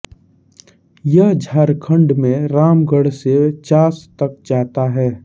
यह झारखंड में रामगढ़ से चास तक जाता है